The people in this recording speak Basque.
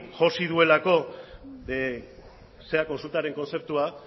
josi duelako kontsultaren kontzeptua